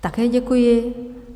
Také děkuji.